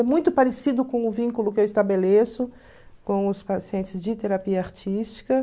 É muito parecido com o vínculo que eu estabeleço com os pacientes de terapia artística.